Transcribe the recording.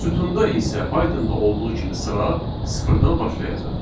Sütunda isə Python-da olduğu kimi sıra sıfırdan başlayacaq.